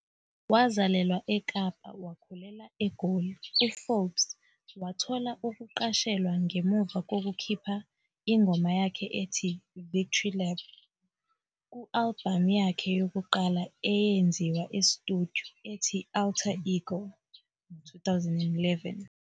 Wazalelwa eKapa wakhulela eGoli, u-Forbes wathola ukuqashelwa ngemuva kokukhipha ingoma yakhe ethi "Victory Lap" ku-albhamu yakhe yokuqala eyenziwe e-studio, ethi "Altar Ego", 2011.